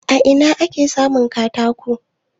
A ina ake samun katako?